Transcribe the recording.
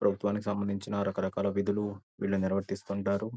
ప్రభుత్వానికి సంబందించిన రకరకాల విధులు వీళ్లు నిర్వర్తిస్తుంటారు.